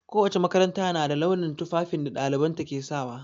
Ko wace makaranta na da launin tufafin da ɗalibanta ke sawa.